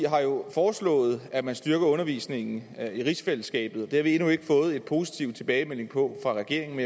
har jo foreslået at man styrker undervisningen i rigsfællesskabet det har vi endnu ikke fået en positiv tilbagemelding på fra regeringen